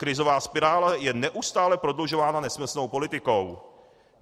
Krizová spirála je neustále prodlužována nesmyslnou politikou.